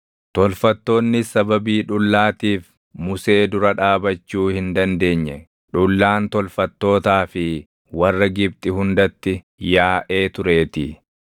Tolfattoonnis sababii dhullaatiif Musee dura dhaabachuu hin dandeenye; dhullaan tolfattootaa fi warra Gibxi hundatti yaaʼee tureetii.